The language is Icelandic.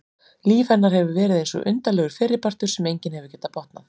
Líf hennar hefur verið eins og undarlegur fyrripartur sem enginn hefur getað botnað.